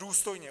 Důstojně.